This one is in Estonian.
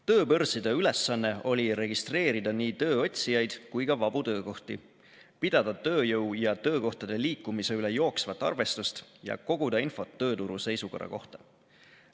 Tööbörside ülesanne oli registreerida nii tööotsijaid kui ka vabu töökohti, pidada tööjõu ja töökohtade liikumise üle jooksvat arvestust ja koguda infot tööturu seisukorra kohta.